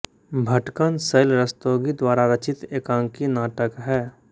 भटकन शैल रस्तोगी द्वारा रचित एकांकी नाटक है